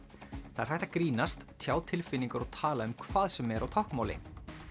það er hægt að grínast tjá tilfinningar og tala um hvað sem er á táknmáli